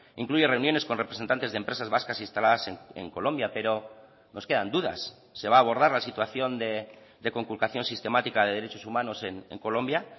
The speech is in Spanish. incluye reuniones con representantes de empresas vascas instaladas en colombia pero nos quedan dudas se va a abordar la situación de conculcación sistemática de derechos humanos en colombia